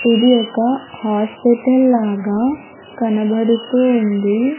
ఇది ఒక హాస్పిటల్ లాగా కనబడుతూ ఉంది.